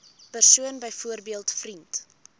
persoon byvoorbeeld vriend